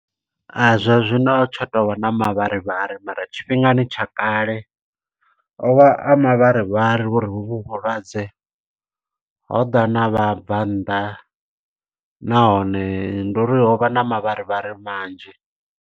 Zwa zwino tsha tovha na mavharivhari, mara tshifhingani tsha kale o vha a mavharivhari uri ho vhu vhulwadze, ho ḓa na vhabvannḓa. Nahone ndi uri ho vha na mavharivhari manzhi.